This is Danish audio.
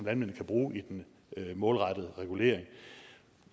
kan bruge i den målrettede regulering